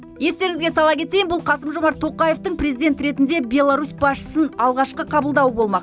естеріңізге сала кетейін бұл қасым жомарт тоқаевтың президент ретінде беларусь басшысын алғашқы қабылдау болмақ